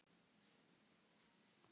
Lillý: Að fara með hana?